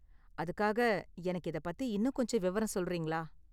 அதுக்காக எனக்கு இதை பத்தி இன்னும் கொஞ்சம் விவரம் சொல்றீங்களா?